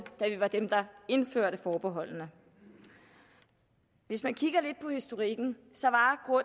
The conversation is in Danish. da vi var dem der indførte forbeholdene hvis man kigger lidt på historikken